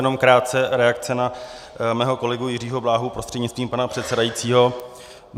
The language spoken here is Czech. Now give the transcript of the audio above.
Jenom krátce reakce na mého kolegu Jiřího Bláhu prostřednictvím pana předsedajícího.